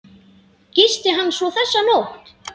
Gisti hann svo þessa nótt?